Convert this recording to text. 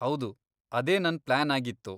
ಹೌದು, ಅದೇ ನನ್ ಪ್ಲಾನ್ ಆಗಿತ್ತು.